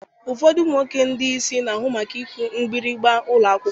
Ụfọdụ ụmụ nwoke ndị isi na-ahụ maka ịkụ mgbịrịgba ụlọ akwụkwọ.